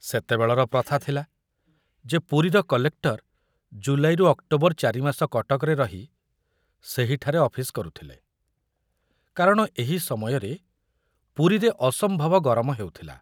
ସେତେବେଳର ପ୍ରଥା ଥିଲା ଯେ ପୁରୀର କଲେକ୍ଟର ଜୁଲାଇରୁ ଅକ୍ଟୋବର ଚାରିମାସ କଟକରେ ରହି ସେହିଠାରେ ଅଫିସ କରୁଥିଲେ, କାରଣ ଏହି ସମୟରେ ପୁରୀରେ ଅସମ୍ଭବ ଗରମ ହେଉଥିଲା।